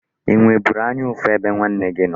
Ị nweburu anya ụfụ ebe nwanne gị nọ?